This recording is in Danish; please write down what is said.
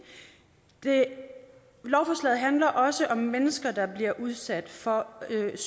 lovforslaget handler også om mennesker der bliver udsat for